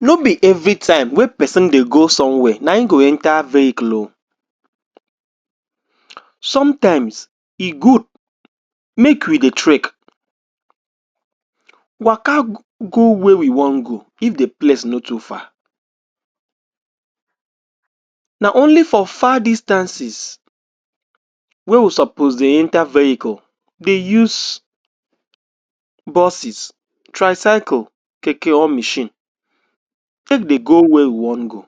no be everytime wey person dey go somewhere nayin go enter vehicle o sometimes e good make we dey treck waka go where you wan go if the place no too far na only for far distances wey we suppose dey enter vehicle dey use buses, tricycle, keke or machine take dey go where we wan go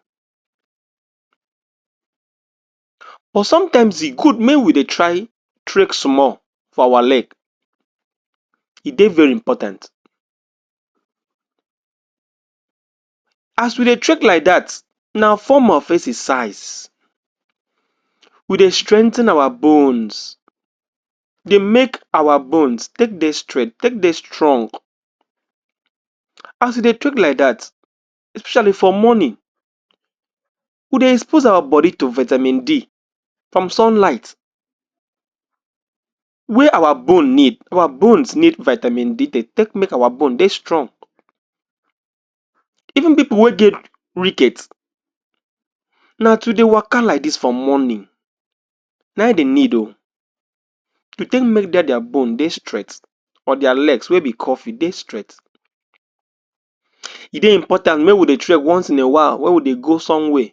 but sometimes e good mey we dey try treck small for our leg e dey very important as we dey treck like dat na form of exercise we dey strengthen our bones dey make our bones take dey straight take dey srtong as e dey take like dat expecially for morning we dey expose our body to vitamin D to sunlight wey our bone need, our bones need vitamin D dey take make our bone dey strong even people wey get na to dey waka like dis for morning nayin dey need o dey take make dia bone dey straight or dia leg wey dey curve dey straight e dey important make we dey treck once in a while wey we dey go somewhere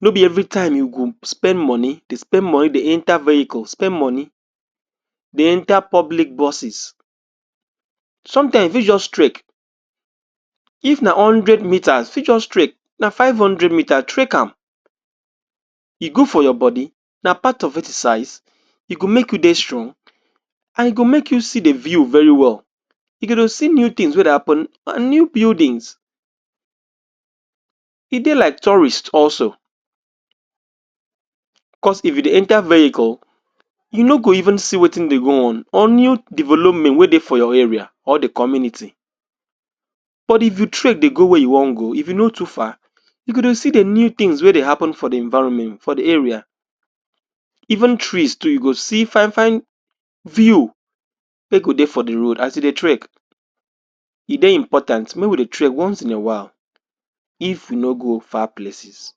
no be every time you go spend money dey spend money dey enter vehicle spend money dey enter public buses sometimes you fit just treck if na hundred metre you fit just treck na five hundred metre treckam e good for your body na part of exercise, ego make you dey strong and e go make you still dey view very well you go dey see new things wey dey happen new buildings e dey like tourist also cos if you dey enter vehicle you no go even see wetin dey go on or new development wey dey for your area or the community but if you treck dey go where you wan go if e no too far you go dey see the new things wey go dey happen for the environment for the area even trees too you go see fine-fine view wey go dey for the road as you dey treck e dey important make we dey treck once in a while if we no go far places